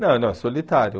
Não, não, é solitária.